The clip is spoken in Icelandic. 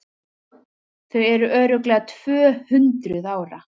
Þau eru örugglega TVÖ-HUNDRUÐ ÁRA!